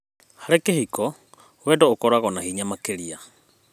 Harĩ kĩhiko, wendo ũkoragwo na hinya makĩria.